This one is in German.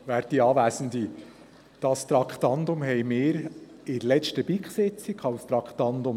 der BiK. Dieses Traktandum haben wir an der letzten BiK-Sitzung behandelt.